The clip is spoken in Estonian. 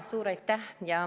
Suur aitäh!